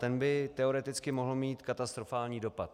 Ten by teoreticky mohl mít katastrofální dopad.